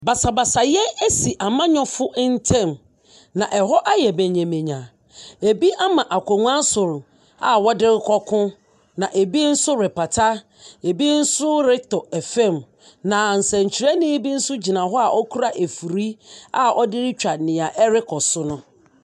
Basabasayɛ asi amanyɔfo ntam, na ɛhɔ ayɛ manyamanya. Ebi ama akonnwa so a wɔde rekɔ ko. Na ebi nso repata. Ebi nso retɔ fam. Na nsɛnkyerɛni bi gyina hɔ a okura afiri retwa nea ɛrekɔ so no.